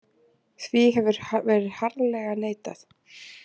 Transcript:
Því hefur verið harðlega neitað